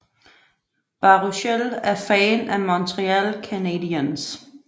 Baruchel er fan af Montreal Canadiens